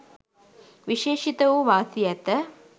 විශේෂිත වූ වාසි ඇත.